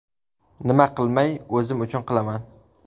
Nima qilmay, o‘zim uchun qilaman.